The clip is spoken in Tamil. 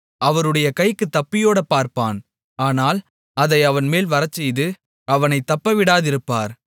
அவருடைய கைக்குத் தப்பியோடப் பார்ப்பான் ஆனால் அதை அவன்மேல் வரச்செய்து அவனைத் தப்பவிடாதிருப்பார்